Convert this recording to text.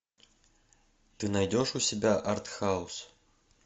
ты найдешь у себя артхаус